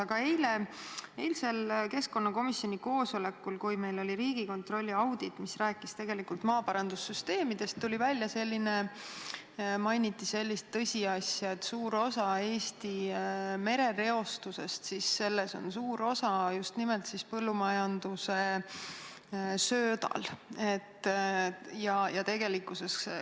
Aga eilsel keskkonnakomisjoni koosolekul, kui meil oli päevakorras Riigikontrolli audit, mis rääkis maaparandussüsteemidest, mainiti sellist tõsiasja, et Eesti merereostuses mängib suurt osa just nimelt põllumajanduses kasutatav sööt.